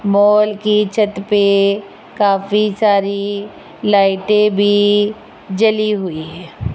Mall की छत पे काफी सारी लाइटे भी जली हुई है।